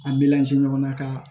An bɛ ɲɔgɔn na ka